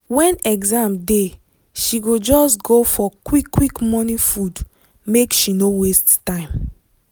when exam dey she go just go for quick quick morning food make she no waste time.